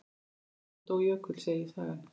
Síðan dó Jökull, segir sagan.